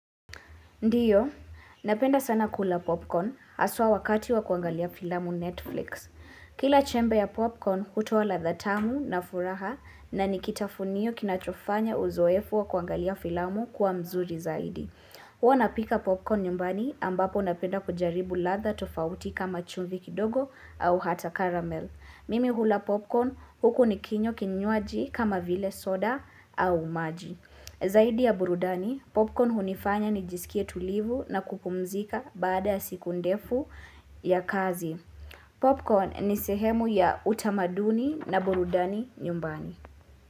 Ndiyo, napenda sana kula popcorn haswa wakati wa kuangalia filamu Netflix. Kila chembe ya popcorn hutuoa ladha tamu na furaha na nikitafunio kinachofanya uzoefu wa kuangalia filamu kuwa nzuri zaidi. Huwa napika popcorn nyumbani ambapo napenda kujaribu ladha tofauti kama chumvi kidogo au hata caramel. Mimi hula popcorn huku nikinywa kinywaji kama vile soda au maji. Zaidi ya burudani, popcorn hunifanya nijisikie tulivu na kupumzika baada siku ndefu ya kazi. Popcorn ni sehemu ya utamaduni na burudani nyumbani.